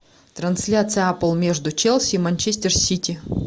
трансляция апл между челси и манчестер сити